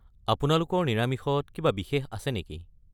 আপোনালোকৰ নিৰামিষত কিবা বিশেষ আছে নেকি?